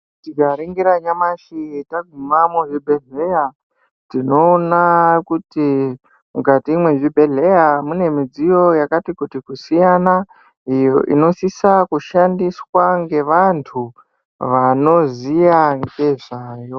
Tikaringira nyamashi taguma muzvibhedhleya, tinoona kuti mukati mwezvibhedhleya mune mudziyo yakati kuti kusiyana, inosisa kushandiswa ngevantu vanoziya ngezvayo.